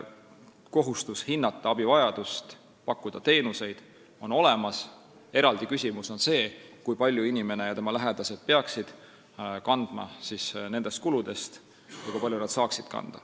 Kohustus hinnata abivajadust ja pakkuda teenuseid on olemas, eraldi küsimus on see, kui palju inimene ja tema lähedased peaksid kandma nendest kuludest ja kui palju nad saaksid kanda.